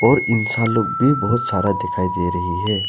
और इंसान लोग भी बहोत सारा दिखाई दे रही है।